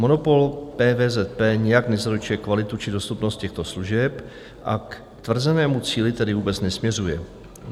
Monopol PVZP nijak nezaručuje kvalitu či dostupnost těchto služeb, a k tvrzenému cíli tedy vůbec nesměřuje.